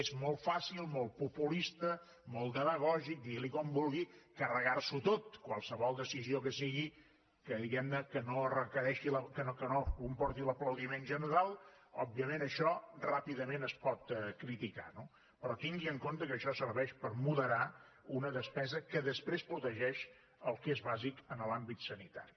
és molt fàcil molt populista molt demagògic digui’n com vulgui carregar s’ho tot qualsevol decisió que sigui que diguem ne que no comporti l’aplaudiment general òbviament això ràpidament es pot criticar no però tingui en compte que això serveix per moderar una despesa que després protegeix el que és bàsic en l’àmbit sanitari